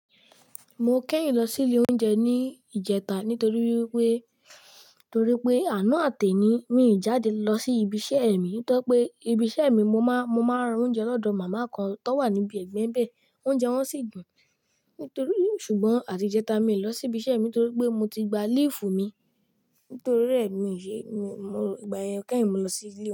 Mo kẹ́yin lọ sí ilé oúnjẹ ní ìjẹta nítorí pé, torí pé àná àtẹ̀ ni, mi ò jáde lọ sí ibi iṣẹ́ mi. Nítorí pé ibi iṣẹ́ mi mo máa, mo máa ń ra oúnjẹ lọ́dọ̀ màmá kan tó wà níbi ẹ̀gbẹ́ bẹ̀. Ounje won si dun nítorí, ṣùgbọ́n àti ìjẹta mi ò lọ sí ibi iṣẹ́ mi nítorí pé mo ti gba léèfù mi. Nítorí rẹ̀ mi ò ṣe, mo, ìgbà yẹn kẹ́yin mo lọ sí ilé.